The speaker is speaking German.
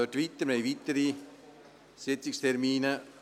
Wir arbeiten weiter daran, wir haben weitere Sitzungstermine.